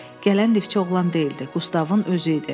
Gələn lifçi oğlan deyildi, Qustavın özü idi.